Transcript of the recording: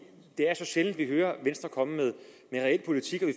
er så sjældent vi hører venstre komme med en reel politik vi